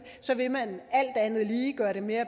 vil man alt andet lige gøre det mere